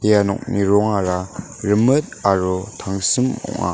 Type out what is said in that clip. ia nokni rongara rimit aro tangsim ong·a.